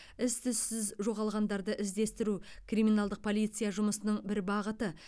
із түзсіз жоғалғандарды іздестіру криминалдық полиция жұмысының бір бағыты